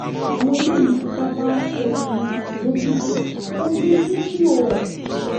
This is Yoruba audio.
àwọn eléyìí fipá bá obìnrin sùn lọ́gìjò wọ́n tún fídíò rẹ̀